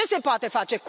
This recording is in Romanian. Ce se poate face?